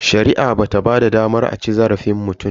Shari'a bata ba da damar a ci zarafin mutum ba.